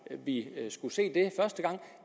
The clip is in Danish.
at vide at